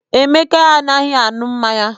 Emeka adịghị aṅụ mmanya.